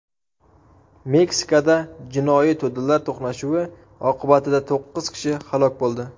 Meksikada jinoiy to‘dalar to‘qnashuvi oqibatida to‘qqiz kishi halok bo‘ldi.